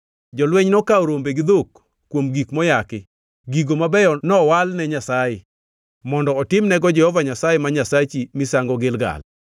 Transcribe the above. Jolweny nokawo rombe gi dhok kuom gik moyaki, gigo mabeyo nowal ne Nyasaye mondo otimnego Jehova Nyasaye ma Nyasachi misango Gilgal.”